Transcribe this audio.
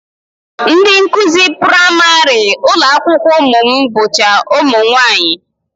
Ndị nkụzi praịmarị ụlọakwụkwọ ụmụ m bụcha ụmụnwaanyị